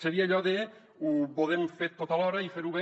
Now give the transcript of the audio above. seria allò de ho podem fer tot alhora i fer ho bé